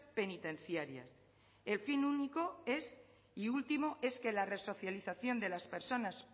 penitenciarias el fin único y último es que la resocialización de las personas